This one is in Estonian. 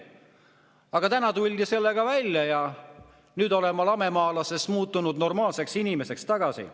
Aga täna tuldi sellega välja ja nüüd olen ma lamemaalasest muutunud tagasi normaalseks inimeseks.